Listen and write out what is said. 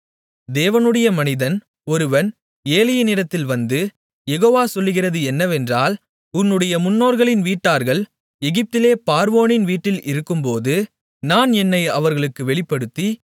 தேவனுடைய மனிதன் ஒருவன் ஏலியினிடத்தில் வந்து யெகோவா சொல்கிறது என்னவென்றால் உன்னுடைய முன்னோர்களின் வீட்டார்கள் எகிப்திலே பார்வோனின் வீட்டில் இருக்கும்போது நான் என்னை அவர்களுக்கு வெளிப்படுத்தி